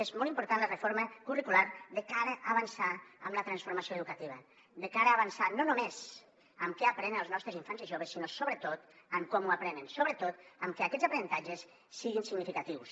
és molt important la reforma curricular de cara a avançar en la transformació educativa de cara a avançar no només amb què aprenen els nostres infants i joves sinó sobretot en com ho aprenen sobretot que aquests aprenentatges siguin significatius